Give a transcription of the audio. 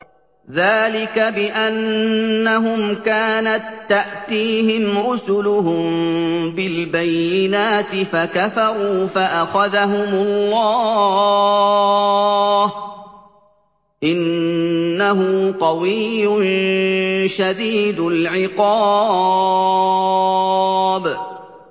ذَٰلِكَ بِأَنَّهُمْ كَانَت تَّأْتِيهِمْ رُسُلُهُم بِالْبَيِّنَاتِ فَكَفَرُوا فَأَخَذَهُمُ اللَّهُ ۚ إِنَّهُ قَوِيٌّ شَدِيدُ الْعِقَابِ